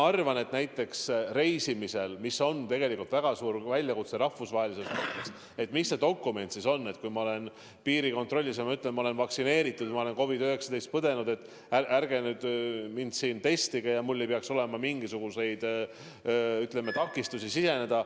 Aga näiteks reisimisel on rahvusvaheliselt väga suur küsimus, mis see dokument võiks olla, mida ma piirikontrollis näitan, kui ütlen, et ma olen vaktsineeritud või ma olen COVID-19 põdenud, ärge nüüd mind siin testige, mul ei tohiks olla mingisuguseid takistusi riiki siseneda.